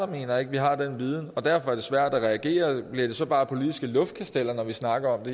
mener at vi har den viden og derfor er det svært at reagere bliver det så bare politiske luftkasteller når vi snakker om